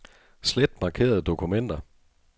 Slet markerede dokumenter.